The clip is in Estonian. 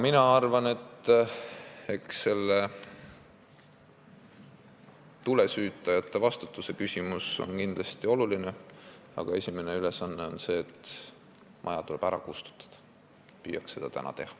Mina arvan, et see tulesüütajate vastutuse küsimus on kindlasti oluline, aga esimene ülesanne on maja ära kustutada – püüaks seda täna teha.